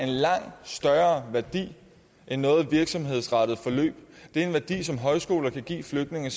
langt større værdi end noget virksomhedsrettet forløb det er en værdi som højskoler kan give flygtninge